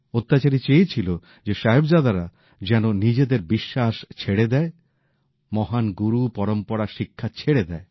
অত্যাচারী চেয়েছিল যে সাহিবজাদারা যেন নিজেদের বিশ্বাস ছেড়ে দেয় মহান গুরু পরম্পরা শিক্ষা ছেড়ে দেয়